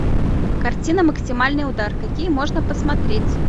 картина максимальный удар какие можно посмотреть